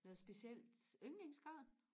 noget specielt yndlingsgarn